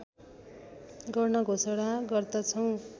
गर्ने घोषणा गर्दछौँ